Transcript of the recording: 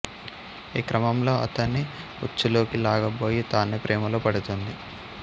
ఈ క్రమంలో అతణ్ణి ఉచ్చులోకి లాగబోయి తానే ప్రేమలో పడుతుంది